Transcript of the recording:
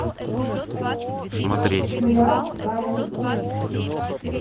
сериал гая ричи